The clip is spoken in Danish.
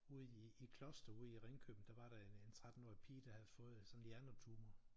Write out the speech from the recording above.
Ude i Kloster ude i Ringkøbing der var der sådan en 13 årig pige der havde fået sådan en hjernetumor